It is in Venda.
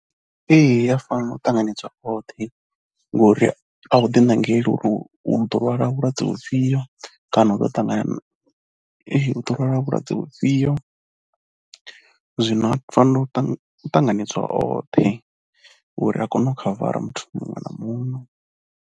Ee i ya fanela u ṱanganedza hoṱhe ngori a u ḓiṋangeli uri u ḓo lwala vhulwadze vhufhio kana u ḓo ṱangana, u ḓo lwala vhulwadze vhufhio. Zwino u fanela u tanganedzwa oṱhe uri a kone u khavara muthu muṅwe na muṅwe.